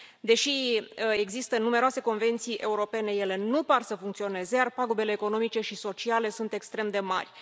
Deși există numeroase convenții europene, ele nu par să funcționeze, iar pagubele economice și sociale sunt extrem de mari.